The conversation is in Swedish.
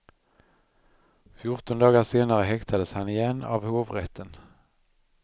Fjorton dagar senare häktades han igen, av hovrätten.